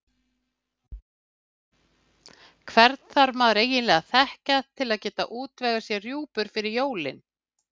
Hvern þarf maður eiginlega að þekkja til að geta útvegað sér rjúpur fyrir jólin?